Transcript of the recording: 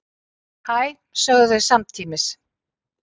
Hæ, sögðu þeir samtímis.